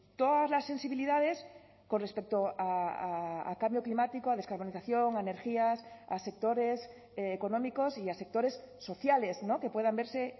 todas las sensibilidades con respecto a cambio climático a descarbonización a energías a sectores económicos y a sectores sociales que puedan verse